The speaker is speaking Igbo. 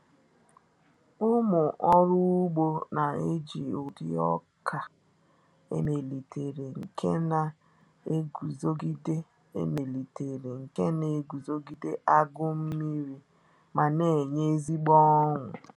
Ụmụ ọrụ ugbo na-eji ụdị oka emelitere nke na-eguzogide emelitere nke na-eguzogide agụụ nmiri ma na-enye ezigbo ụnụ.